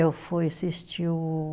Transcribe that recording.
Eu fui assistir o